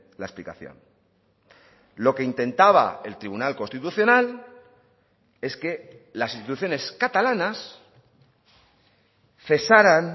la explicación lo que intentaba el tribunal constitucional es que las instituciones catalanas cesaran